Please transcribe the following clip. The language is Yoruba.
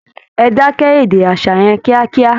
Ẹ dákẹ́ èdè aṣa yẹn kíákíá!